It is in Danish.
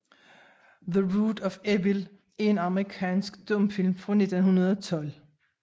The Root of Evil er en amerikansk stumfilm fra 1912 af D